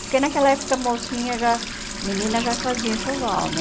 Porque naquela época mocinha, já menina já fazia enxoval, né?